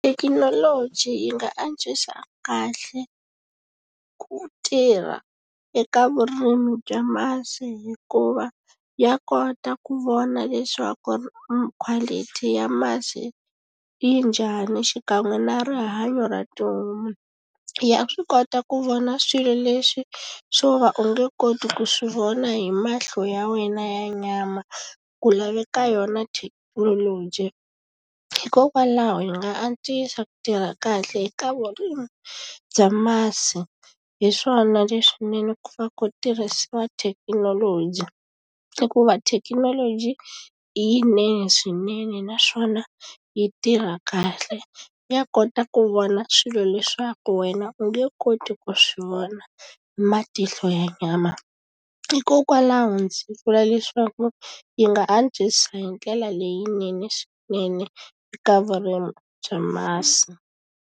Thekinoloji yi nga antswisa kahle ku tirha eka vurimi bya masi hikuva ya kota ku vona leswaku quality ya masi yi njhani xikan'we na rihanyo ra tihomu ya swi kota ku vona swilo leswi swo va u nge koti ku swi vona hi mahlo ya wena ya nyama ku laveka yona thekinoloji hikokwalaho yi nga antswisa ku tirha kahle eka vurimi bya masi hi swona leswinene ku pfa ku tirhisiwa thekinoloji hikuva thekinoloji yinene swinene naswona yi tirha kahle ya kota ku vona swilo leswaku wena u nge koti ku swi vona hi matihlo ya nyama hikokwalaho ndzi vula leswaku yi nga antswisa hi ndlela leyinene swinene eka vurimi bya masi.